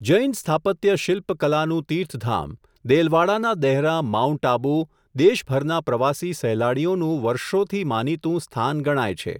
જૈન સ્થાપત્ય શિલ્પ કલાનું તિર્થધામ, દેલવાડાના દહેરાં માઉન્ટ આબુ, દેશભરના પ્રવાસી સહેલાણીઓનું વર્ષોથી માનીતું, સ્થાન ગણાય છે.